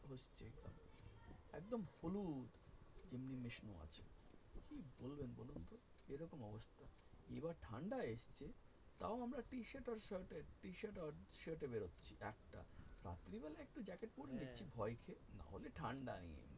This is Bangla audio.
এবার ঠাণ্ডা এসছে তাও আমরা তাও আমরা T-shirt or shirt এ বেরচ্ছি রাত্রে বেলা একটু জ্যাকেট পরে নিচ্ছি ভয় খেয়ে নাহলে কিন্তু ঠাণ্ডা নেই।